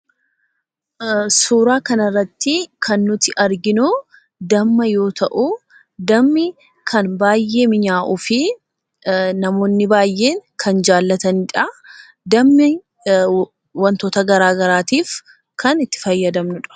Suuraa kana irratti kan nuti arginuu Damma yoo ta'u, Dammi kan baay'ee mi'aawuu fi namoonni baay'een kan jaallatanii dha. Dammi wantoota garagaraatiif kan itti fayyadamnuu dha.